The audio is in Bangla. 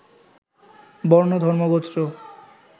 বর্ণ, ধর্ম, গোত্র